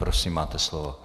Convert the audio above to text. Prosím, máte slovo.